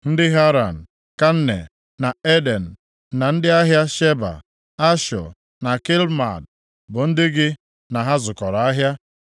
“ ‘Ndị Haran, Kanne na Eden, na ndị ahịa Sheba, Ashọ na Kilmad, bụ ndị gị na ha zụkọrọ ahịa.